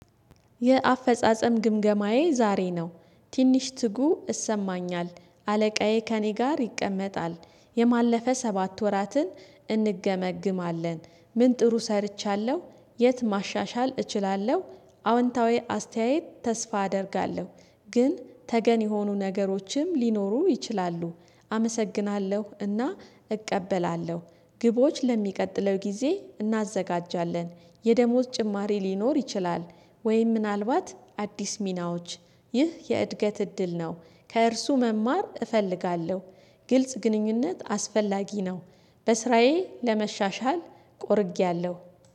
የአፈጻጸም ግምገማዬ ዛሬ ነው ትንሽ ትጉ እሰማኛል አለቃዬ ከእኔ ጋር ይቀመጣል የማለፈ ሰባት ወራትን እንገመግማለን። ምን ጥሩ ሰርቻለሁ? የት ማሻሻል እችላለሁ? አዎንታዊ አስተያየት ተስፋ አደርጋለሁ። ግን ተገን የሆኑ ነገሮችም ሊኖሩ ይችላሉ። አመሰግናለሁ እና እቀበላለሁ። ግቦች ለሚቀጥለው ጊዜ እናዘጋጃለን። የደሞዝ ጭማሪ ሊኖር ይችላል። ወይም ምናልባት አዲስ ሚናዎች ይህ የእድገት እድል ነው። ከእርሱ መማር እፈልጋለሁ። ግልጽ ግንኙነት አስፈላጊ ነው። በስራዬ ለመሻሻል ቆርጌያለሁ